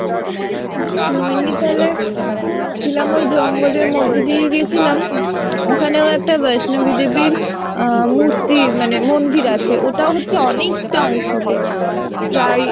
নৈনিতালে ছিলাম ওই জঙ্গলের মধ্যে দিয়ে গেছিলাম। ওখানেও একটা বৈষ্ণবী দেবীর আহ মূর্তি মানে মন্দির আছে ওটা হচ্ছে অনেকটা উঁচুতে প্রায়